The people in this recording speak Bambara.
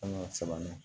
An ka sɛman ne